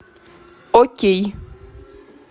окей